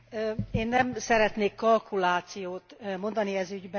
Én nem szeretnék kalkulációt mondani ez ügyben.